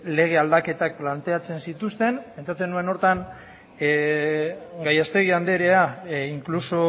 lege aldaketak planteatzen zituzten pentsatzen nuen horretan gallastegi anderea inkluso